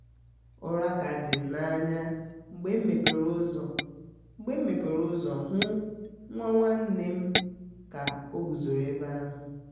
ụra ka di m na-anya mgbe mepere ụzọ mgbe mepere ụzọ hụ nwa nwanne nne m ka oguzoro ebe ahu